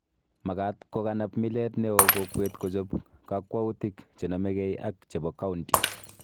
Makaat kokanap milet neo kokwet kochob kakwautik chenomegei ak chebo county